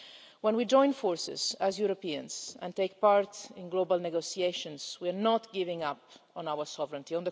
When we join forces, as Europeans, and take part in global negotiations, we are not giving up on our sovereignty.